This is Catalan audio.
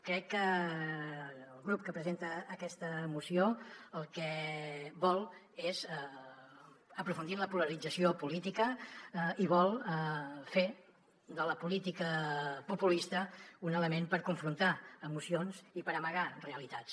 crec que el grup que presenta aquesta moció el que vol és aprofundir en la polarització política i vol fer de la política populista un element per confrontar emocions i per amagar realitats